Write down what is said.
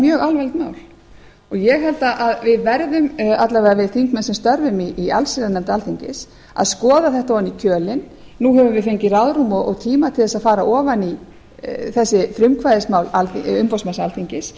mjög alvarlegt mál og ég held að við verðum alla vega þeir þingmenn sem störfum í allsherjarnefnd alþingis að skoða þetta ofan í kjölinn nú höfum við fengið ráðrúm og tíma til að fara ofan í þessi frumkvæðismál umboðsmanns alþingis